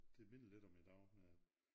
Det minder lidt om i dag med